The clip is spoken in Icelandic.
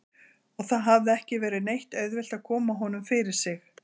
Og það hafði ekki verið neitt auðvelt að koma honum fyrir sig.